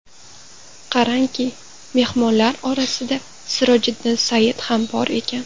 Qarangki, mehmonlar orasida Sirojiddin Sayyid ham bor ekan.